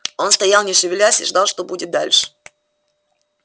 он стоял не шевелясь и ждал что будет дальше